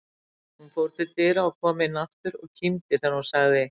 Hún fór til dyra, kom inn aftur og kímdi þegar hún sagði